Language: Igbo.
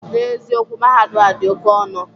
N'eziokwu, Mahadum ahụ dị oke ọnọ